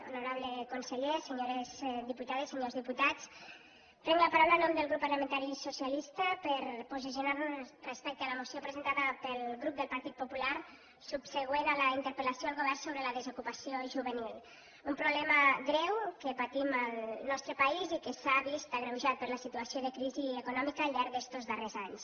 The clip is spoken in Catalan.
honorable conseller senyores diputades senyors diputats prenc la paraula en nom del grup parlamentari socialista per posicionar nos respecte a la moció presentada pel grup del partit popular subsegüent a la interpel·lació al govern sobre la desocupació juvenil un problema greu que patim al nostre país i que s’ha vist agreujat per la situació de crisi econòmica al llarg d’estos darrers anys